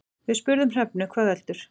Við spurðum Hrefnu hvað veldur.